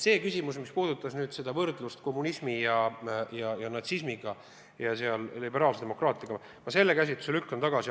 Küsimus, mis puudutas võrdlust kommunismi ja natsismiga ja liberaalse demokraatiaga – selle käsitluse lükkan ma tagasi.